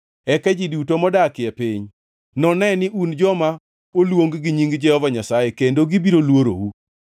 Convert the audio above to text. Eka ji duto modak e piny none ni un joma oluong gi nying Jehova Nyasaye kendo gibiro luorou.